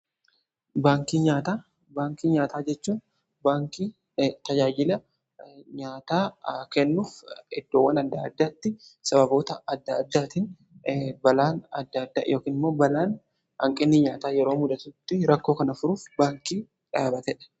baankii nyaataa , baankii nyaataa jechuun baankii tajaajila nyaataa kennuuf iddoowwan adda addaatti sababoota adda addaatiin balaan adda adda yokimmoo balaan hanqinni nyaataa yeroo muddatutti rakkoo kana furuuf baankii dhaabatee dha.